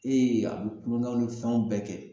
a bi kulonkɛw ni fɛnw bɛɛ kɛ